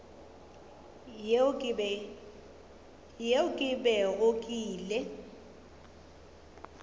yeo ke bego ke ile